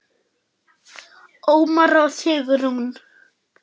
Ómar og Sigrún.